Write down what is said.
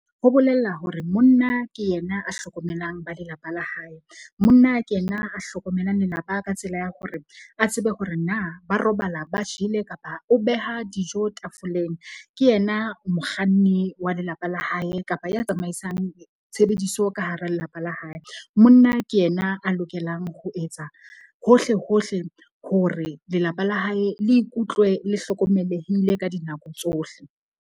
Ho bolela hore monna ke yena a hlokomelang ba lelapa la hae. Monna ke yena a hlokomelang lelapa ka tsela ya hore a tsebe hore na ba robala ba jele kapa o beha dijo tafoleng. Ke yena mokganni wa lelapa la hae kapa ya tsamaisang tshebediso ka hara lelapa la hae. Monna ke yena a lokelang ho etsa hohle hohle hore lelapa la hae le ikutlwe le hlokomelehile ka dinako tsohle.